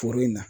Foro in na